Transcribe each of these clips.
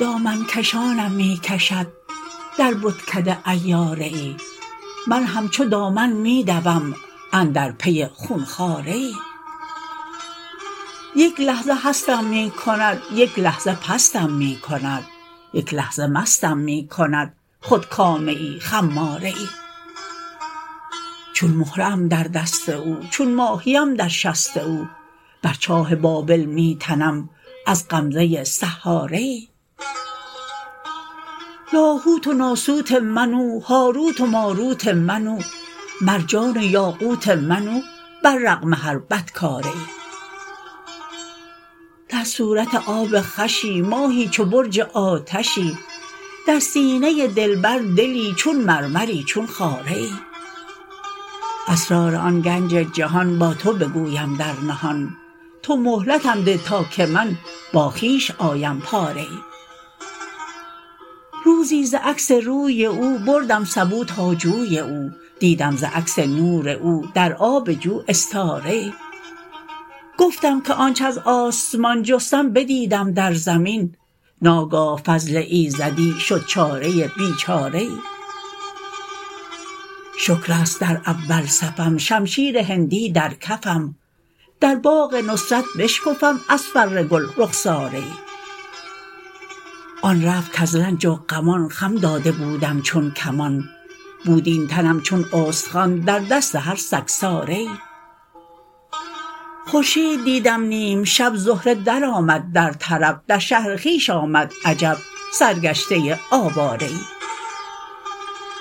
دامن کشانم می کشد در بتکده عیاره ای من همچو دامن می دوم اندر پی خون خواره ای یک لحظه هستم می کند یک لحظه پستم می کند یک لحظه مستم می کند خودکامه ای خماره ای چون مهره ام در دست او چون ماهی ام در شست او بر چاه بابل می تنم از غمزه ی سحاره ای لاهوت و ناسوت من او هاروت و ماروت من او مرجان و یاقوت من او بر رغم هر بدکاره ای در صورت آب خوشی ماهی چو برج آتشی در سینه ی دلبر دلی چون مرمری چون خاره ای اسرار آن گنج جهان با تو بگویم در نهان تو مهلتم ده تا که من با خویش آیم پاره ای روزی ز عکس روی او بردم سبو تا جوی او دیدم ز عکس نور او در آب جو استاره ای گفتم که آنچ از آسمان جستم بدیدم در زمین ناگاه فضل ایزدی شد چاره ی بیچاره ای شکر است در اول صفم شمشیر هندی در کفم در باغ نصرت بشکفم از فر گل رخساره ای آن رفت کز رنج و غمان خم داده بودم چون کمان بود این تنم چون استخوان در دست هر سگساره ای خورشید دیدم نیم شب زهره درآمد در طرب در شهر خویش آمد عجب سرگشته ای آواره ای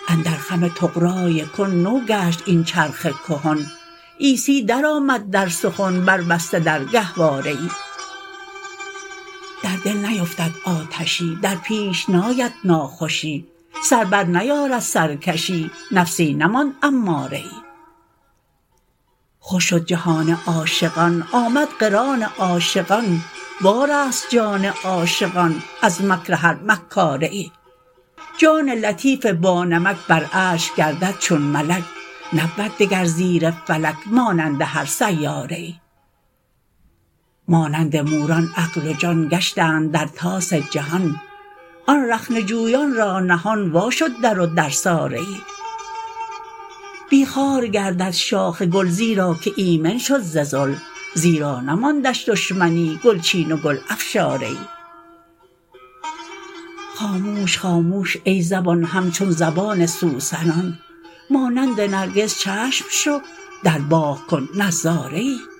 اندر خم طغرای کن نو گشت این چرخ کهن عیسی درآمد در سخن بربسته در گهواره ای در دل نیفتد آتشی در پیش ناید ناخوشی سر برنیارد سرکشی نفسی نماند اماره ای خوش شد جهان عاشقان آمد قران عاشقان وارست جان عاشقان از مکر هر مکاره ای جان لطیف بانمک بر عرش گردد چون ملک نبود دگر زیر فلک مانند هر سیاره ای مانند موران عقل و جان گشتند در طاس جهان آن رخنه جویان را نهان وا شد در و درساره ای بی خار گردد شاخ گل زیرا که ایمن شد ز ذل زیرا نماندش دشمنی گل چین و گل افشاره ای خاموش خاموش ای زبان همچون زبان سوسنان مانند نرگس چشم شو در باغ کن نظاره ای